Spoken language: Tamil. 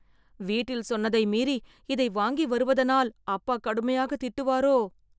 வீட்டில் சொன்னதை மீறி இதை வாங்கி வருவதனால் அப்பா கடுமையாக திட்டுவாரோ..